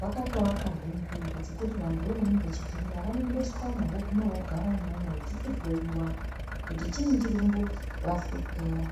Vakatoakazve nzvimbo dzekuti vantuvoo vanenge vechipenga vanoendeswamwo, vooguma vogara umwomwo vechichihloyiwa kuti chiinyi chirikumbovahlupera.